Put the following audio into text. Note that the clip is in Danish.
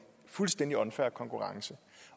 fuldstændig unfair konkurrence